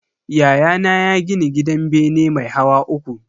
Yayana ya gini gidan bene mai hawa uku.